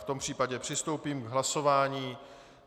V tom případě přistoupím k hlasování.